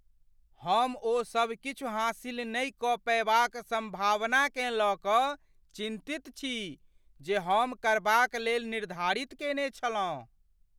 हम ओ सब किछु हासिल नहि कऽ पएबाक सम्भावनाकेँ लऽ कऽ चिन्तित छी जे हम करबाक लेल निर्धारित केने छलहुँ।